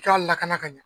I ka lakana ka ɲɛ